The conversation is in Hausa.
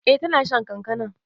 Eh ta na shan kankanan.